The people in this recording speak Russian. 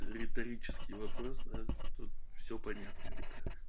риторический вопрос да тут все понятно это